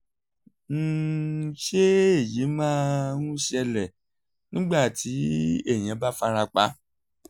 um ṣé èyí máa ń ṣẹlẹ̀ nígbà tí èèyàn bá fara pa?